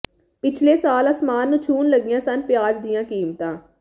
ਪਿਛਲੇ ਸਾਲ ਆਸਮਾਨ ਨੂੰ ਛੂੰਹਣ ਲੱਗੀਆ ਸਨ ਪਿਆਜ਼ ਦੀਆਂ ਕੀਮਤਾਂ